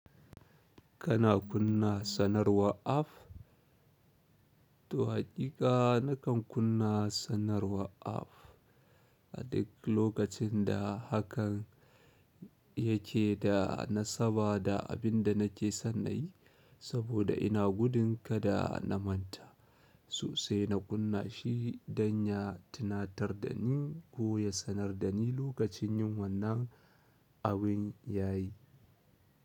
Kana kunna sanarwa app? To haƙiƙa na kan kunna sanarwar app. A duk lokacin da hakan yake da na saba da abin da nake san nayi saboda ina gudun kada na manta. Sosai na kunna shi don ya tunatar da ni koya sanar da ni lokacin yin wannan abin yayi.